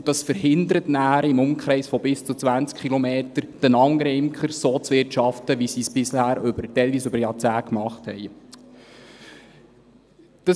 Denn das verhindert nachher im Umkreis von bis zu 20 Kilometern die anderen Imker, so zu wirtschaften, wie sie es bisher, teilweise über Jahrzehnte, gemacht haben.